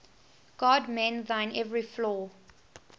god mend thine every flaw